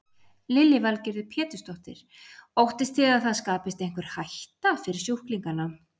Lillý Valgerður Pétursdóttir: Óttist þið það að það skapist einhver hætta fyrir sjúklingana?